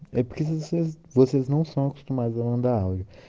я признался как то мандалы